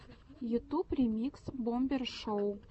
ютуб ремикс бомбер шоу